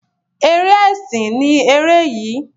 Eré ẹsìn ni ere yii.